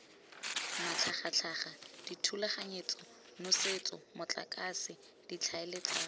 matlhagatlhaga dithulaganyetso nosetso motlakase ditlhaeletsano